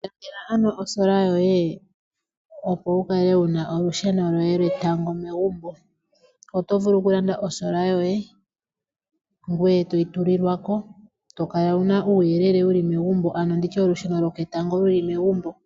Ilandela ano osola yoye opo wukale wuna olusheno lwoye lwetango megumbo. Oto vulu oku landa osola yoye ngweye toyi tulilwako, tokala wuna uuyelele wuli megumbo ano nditye olusheno lwoketango luli megumbo.